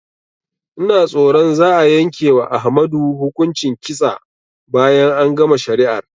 Ina tsoron za'a yanke wa Ahmadu hukuncin kitsa bayan an gama shari'ar